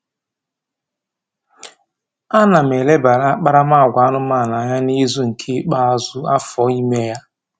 A na m elebara akparamagwa anụmanụ anya n'izu nke ikpeazụ afọ ime ya